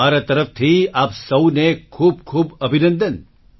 મારા તરફથી આપ સૌને ખૂબ ખૂબ અભિનંદન